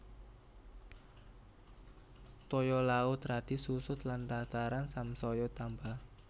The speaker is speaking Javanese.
Toya laut radi susut lan daratan samsaya tambah